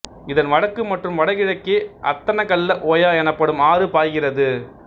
இதன் வடக்கு மற்றும் வடகிழக்கே அத்தனகல்ல ஓயா எனப்படும் ஆறு பாய்கிறது